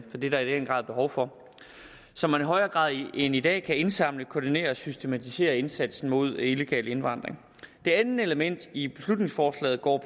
er der i den grad behov for så man i højere grad end i dag kan indsamle koordinere og systematisere indsatsen mod illegal indvandring det andet element i beslutningsforslaget går